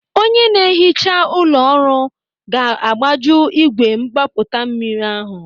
Onye ná-ehicha ụlọ ọrụ ga-agbaji ígwè mgbapụta mmiri ahụ.